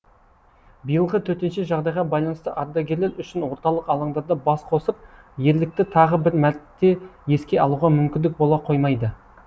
биылғы төтенше жағдайға байланысты ардагерлер үшін орталық алаңдарда бас қосып ерлікті тағы бір мәрте еске алуға мүмкіндік бола қоймайды